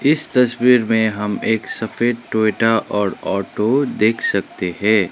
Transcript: इस तस्वीर में हम एक सफेद टोयोटा और ऑटो देख सकते है।